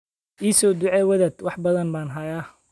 I soo ducee wadaad, wax badan baan hayaa.